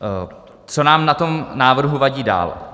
Co nám na tom návrhu vadí dál.